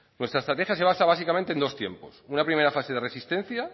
nuestra estrategia se basa básicamente en dos tiempos una primera fase de resistencia